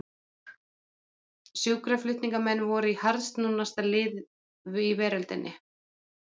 Sjúkraflutningamenn voru harðsnúnasta lið í veröldinni.